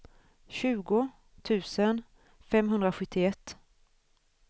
tjugo tusen femhundrasjuttioett